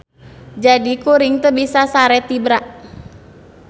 Jadi kuring teu bisa sare tibra.